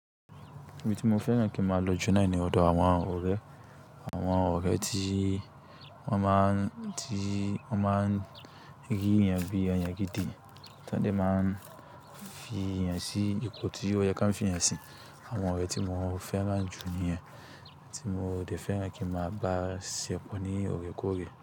Ibi tí mo fẹ́ràn kí n màá lọ Ju noni ọdọ àwọn ọ̀rẹ́. Àwọn ọ̀rẹ́ tí wọ́n máa ń, tí wọ́n máa ń rí yan bí ẹeyan gidi, tan dẹ̀ máa ń fi yan sí ipò tí ó yẹ kí wọ́n fi yan sí. Àwọn ọ̀rẹ́ tí mo fẹ́ràn jù níyẹn, tí mo dẹ̀ fẹ́ràn kí màá bá ṣe pọ̀ ní ọ̀rẹ́ ko ọ̀rẹ́.